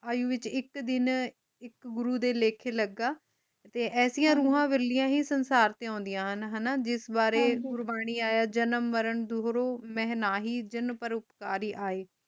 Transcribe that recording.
ਆਇਯੋ ਵਿਚ ਇਕ ਦਿਨ ਇਕ ਗੁਰੂ ਦੇ ਲੇਖੇ ਲਗਾ ਤੇ ਐਸੀਆਂ ਰੂਹਾਂ ਵਾਲਿਆਂ ਹੀ ਸੰਸਾਰ ਤੇ ਓੰਦਿਆਂ ਹਨ ਹਣਾ ਜਿਸ ਬਾਰੇ ਗੁਰਬਾਣੀ ਆਯਾ ਜਨਮ ਮਰਨ ਦੁਹਰਾ ਮੇਹਨਾਹੀ ਜਨ ਪਰ ਉਪਕਾਰੀ ਆਏ